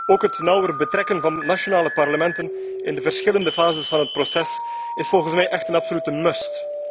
Ook het nauwer betrekken van nationale parlementen in de verschillende fases van het proces is volgens mij een absolute must.